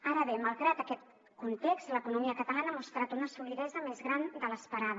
ara bé malgrat aquest context l’economia catalana ha mostrat una solidesa més gran de l’esperada